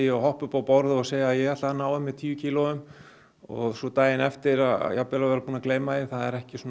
og hoppa upp á borð og segja ég ætla að ná af mér tíu kílóum og svo daginn eftir að jafnvel að vera búin að gleyma því það er ekki